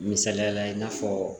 Misaliyala i n'a fɔ